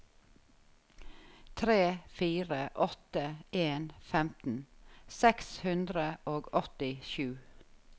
tre fire åtte en femten seks hundre og åttisju